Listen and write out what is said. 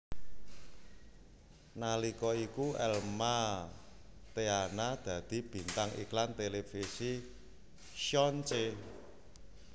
Nalika iku Elma Theana dadi bintang iklan televisi Xon Ce